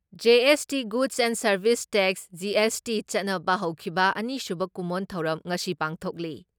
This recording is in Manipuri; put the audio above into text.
GST goods and service tax GST ꯆꯠꯅꯕ ꯍꯧꯈꯤꯕ ꯑꯅꯤꯁꯨꯕ ꯀꯨꯝꯑꯣꯟ ꯊꯧꯔꯝ ꯉꯁꯤ ꯄꯥꯡꯊꯣꯛꯂꯤ ꯫